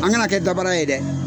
An kana kɛ dabra ye dɛ.